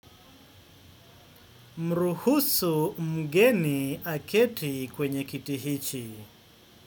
Mruhusu mgeni aketi kwenye kiti hichi.